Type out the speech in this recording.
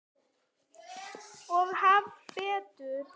Og hafa betur.